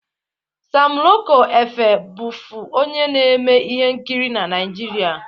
Sam Loko Efe bụfu onye na-eme ihe nkiri na Naịjirịa.